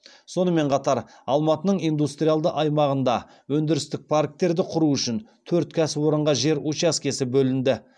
сонымен қатар алматының индустриалды аймағында өндірістік парктерді құру үшін төрт кәсіпорынға жер учаскесі бөлінді